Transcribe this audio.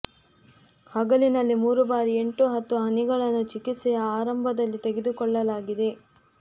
ಹಗಲಿನಲ್ಲಿ ಮೂರು ಬಾರಿ ಎಂಟು ಹತ್ತು ಹನಿಗಳನ್ನು ಚಿಕಿತ್ಸೆಯ ಆರಂಭದಲ್ಲಿ ತೆಗೆದುಕೊಳ್ಳಲಾಗಿದೆ